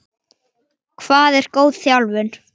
stamaði Svenni.